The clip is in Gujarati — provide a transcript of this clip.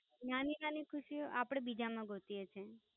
નાની નાની ખુશીઓ અપડે બીજામાં સોઢીએ છીએ.